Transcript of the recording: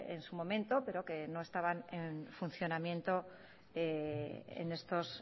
en su momento pero que no estaban en funcionamiento en estos